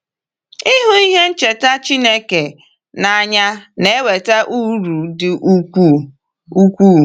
Ịhụ ihe ncheta Chineke n’anya na-eweta uru dị ukwuu. ukwuu.